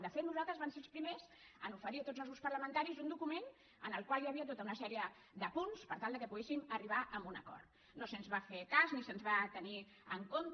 de fet nosaltres vam ser els primers a oferir a tots els grups parlamentaris un document en el qual hi havia tot una sèrie de punts per tal que poguéssim arribar a un acord no se’ns va fer cas ni se’ns va tenir en compte